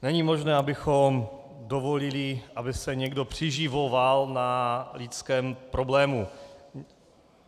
Není možné, abychom dovolili, aby se někdo přiživoval na lidském problému.